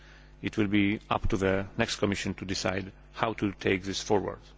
It will be up to the next Commission to decide how to take this forward.